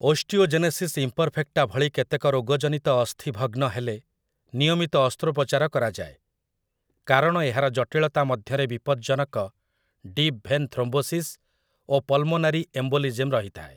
Osteogenesis imperfecta ଭଳି କେତେକ ରୋଗ ଜନିତ ଅସ୍ଥି ଭଗ୍ନ ହେଲେ ନିୟମିତ ଅସ୍ତ୍ରୋପଚାର କରାଯାଏ, କାରଣ ଏହାର ଜଟିଳତା ମଧ୍ୟରେ ବିପଦ୍‌ଜନକ 'ଡିପ୍ ଭେନ୍ ଥ୍ରୋମ୍ବୋସିସ୍' ଓ 'ପଲ୍‌ମୋନାରି ଏମ୍ବୋଲିଜ୍ମ୍' ରହିଥାଏ ।